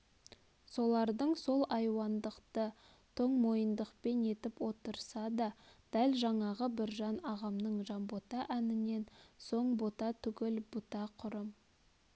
солардың сол айуандықты тоңмойындықпен етіп отырса да дәл жаңағы біржан ағамның жанбота әнінен соң бота түгіл бұта құрым